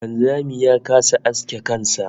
Wanzami ya kasa aske kan sa